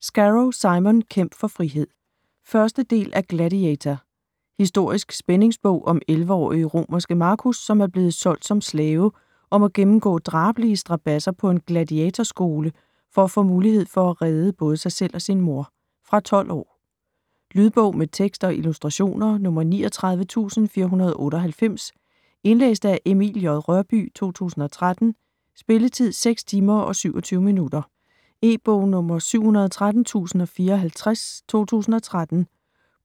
Scarrow, Simon: Kæmp for frihed 1. del af Gladiator. Historisk spændingsbog om 11-årige romerske Marcus, som er blevet solgt som slave og må gennemgå drabelige strabadser på en Gladiator-skole for at få muligheden for at redde både sig selv og sin mor. Fra 12 år. Lydbog med tekst og illustrationer 39498 Indlæst af Emil J. Rørbye, 2013. Spilletid: 6 timer, 27 minutter. E-bog 713054 2013.